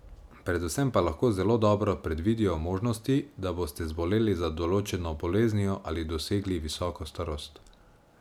Predvsem pa lahko zelo dobro predvidijo možnosti, da boste zboleli za določeno boleznijo ali dosegli visoko starost.